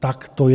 Tak to je.